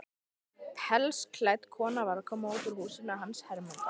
Pelsklædd kona var að koma út úr húsinu hans Hermundar.